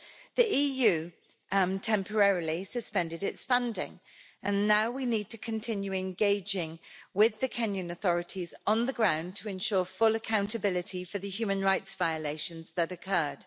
The EU temporarily suspended its funding and now we need to continue engaging with the Kenyan authorities on the ground to ensure full accountability for the human rights violations that occurred.